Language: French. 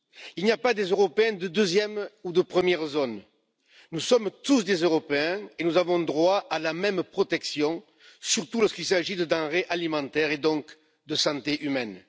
Il n'y pas d'Européens de deuxième ou de première zone nous sommes tous des Européens et nous avons droit à la même protection, surtout lorsqu'il s'agit de denrées alimentaires, et donc de santé humaine.